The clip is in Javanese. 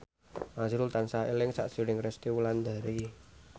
azrul tansah eling sakjroning Resty Wulandari